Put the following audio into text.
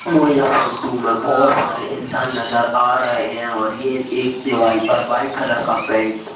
मुझे यह फोटू में बहोत सारे इंसान नजर आ रहे हैं और ये एक दीवाल पर व्हाइट कलर का पेंट --